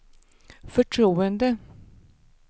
förtroende